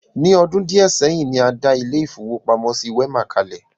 Ní ọdún díẹ̀ seyin, ní a dá ilé-ìfowópamọ́sí Wema kalẹ̀.